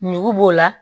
Ɲugu b'o la